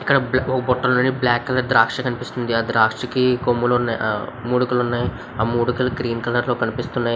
Rocky green colour లో కనిపిస్తూనే లోపల వేసి బాగా కల చేశారు. చాలా బాగున్నాయి.